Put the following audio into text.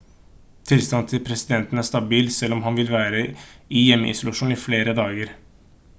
tilstanden til presidenten er stabil selv om han vil være i hjemmeisolasjon i flere dager